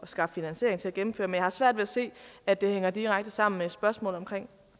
skaffe finansiering til at gennemføre men jeg har svært ved at se at det hænger direkte sammen med spørgsmålet om